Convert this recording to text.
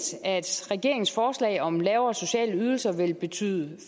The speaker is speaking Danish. at regeringens forslag om lavere sociale ydelser vil betyde